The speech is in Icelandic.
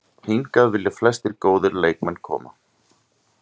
Hingað vilja flestir góðir leikmenn koma.